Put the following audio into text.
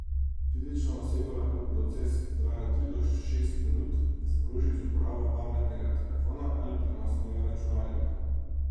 Fizična oseba lahko proces, ki traja od tri do šest minut, sproži z uporabo pametnega telefona ali prenosnega računalnika.